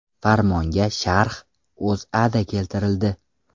Farmonga sharh O‘zAda keltirildi .